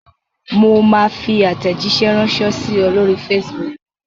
Mo máa fi àtẹ̀jíṣẹ́ ránṣẹ́ sí ẹ lóri Facebook.